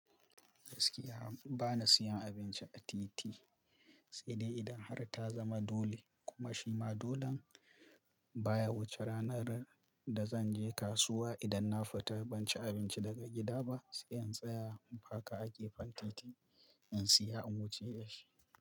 Gaskiya bana siyan abinci a titi, sai dai idan har ta zama dole, kuma shima dolon baya wuce ranar da zanje kasuwa idan na fita ban ci abinci daga gida ba sai in tsaya in paka a gefen titi in siya in wuce da shi.